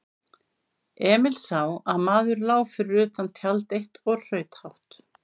Emil sá að maður lá fyrir utan tjald eitt og hraut hátt.